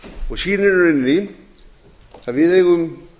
og sýnir í rauninni að við eigum